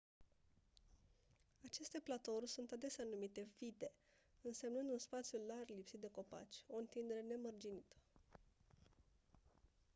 aceste platouri sunt adesea denumite vidde însemnând un spațiu larg lipsit de copaci o întindere nemărginită